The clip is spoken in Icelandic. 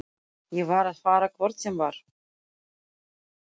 Ég var að fara hvort sem var.